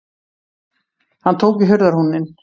Hann tók í hurðarhúninn.